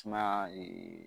Sumaya